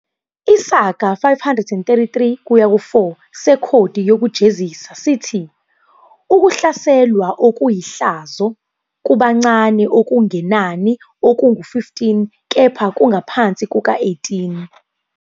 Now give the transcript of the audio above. Isigaba 533-4 sekhodi yokujezisa sithi "ukuhlaselwa okuyihlazo" kubancane okungenani okungu-15 kepha kungaphansi kuka-18.